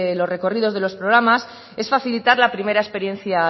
los recorridos de los programas es facilitar la primera experiencia